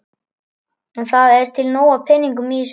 En það er til nóg af peningum í þessu landi.